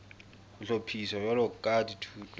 ho hlophiswa jwalo ka dithuto